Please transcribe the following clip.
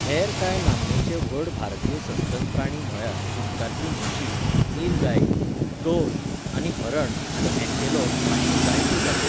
हेर कांय नामनेचे व्हड भारतीय सस्तन प्राणी म्हळ्यार उदकांतली म्हशी, निलगाई, गौर आनी हरण आनी अँटीलोप हांच्यो जायत्यो जाती.